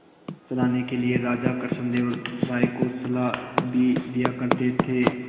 चलाने के लिए राजा कृष्णदेव राय को सलाह भी दिया करते थे